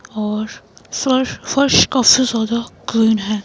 और फर्श फर्श काफी ज्यादा क्लीन है।